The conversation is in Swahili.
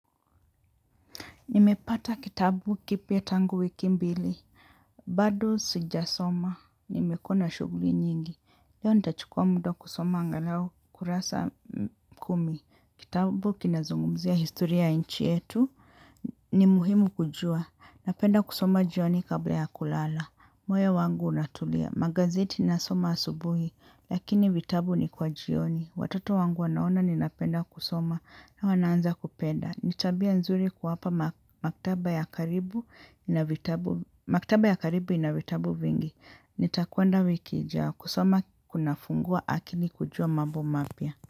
Nimepata kitabu kipya tangu wiki mbili. Bado sijasoma. Nimekuwa na shuguli nyingi. Leo nitachukua muda wa kusoma angalau kurasa kumi. Kitabu kinazungumzia historia ya nchi yetu. Ni muhimu kujua. Napenda kusoma jioni kabla ya kulala. Moyo wangu unatulia. Magazeti nasoma asubuhi. Lakini vitabu ni kwa jioni. Watoto wangu wanaona ninapenda kusoma. Na wanaanza kupenda. Ni tabia nzuri kuwapa maktaba ya karibu ina vitabu vingi. Nitakuenda wiki ajayo kusoma kuna fungua akili kujua mambo mapya.